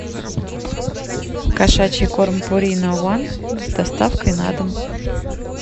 кошачий корм пурина ван с доставкой на дом